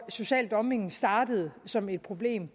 sociale dumping startede som et problem